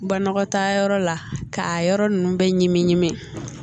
Banakɔtaa yɔrɔ la k'a yɔrɔ ninnu bɛɛ ɲimi